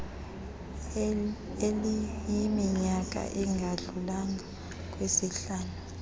eliyiminyaka engadlulanga kwisihlanu